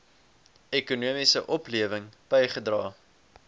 ekonomiese oplewing bygedra